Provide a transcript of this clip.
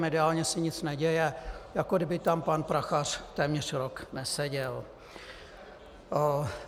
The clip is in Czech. Mediálně se nic neděje, jako kdyby tam pan Prachař téměř rok neseděl.